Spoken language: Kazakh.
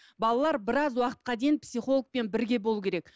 балалар біраз уақытқа дейін психологпен бірге болуы керек